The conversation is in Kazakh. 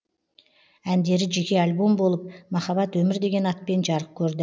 әндері жеке альбом болып махаббат өмір деген атпен жарық көрді